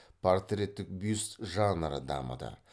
портреттік бюст жанры дамыды